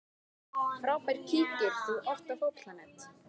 Frábær Kíkir þú oft á Fótbolti.net?